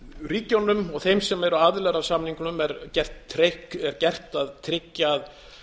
ríkjunum og þeim sem eru aðilar að samningnum er gert að tryggja að